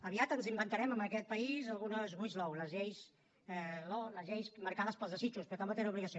aviat ens inventarem en aquest país algunes wish law les lleis marcades pels desitjos però que tampoc tenen obligació